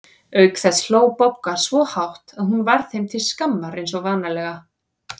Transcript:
Auk þess hló Bogga svo hátt að hún varð þeim til skammar eins og vanalega.